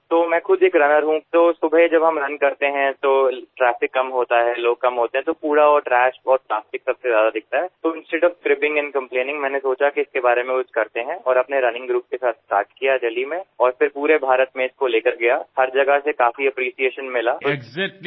আমি নিজে একজন দৌড়বীর আর সকালে যখন আমরা দৌড়াই তখন ট্রাফিক কম থাকেআর লোকজন কম থাকলে ময়লা আবর্জনা এবং প্লাস্টিক সর্বাধিক দেখা যায় তাই দোষারোপ এবং অভিযোগ করার পরিবর্তে আমি ভাবলাম এই বিষয়ে কিছু করা উচিত তাই দিল্লিতে একটি দৌড়ের দল তৈরি করে সেটিকে পরে ভারতজুড়ে নিয়ে যাই সর্বত্র এর জন্য প্রচুর প্রশংসা পেয়েছি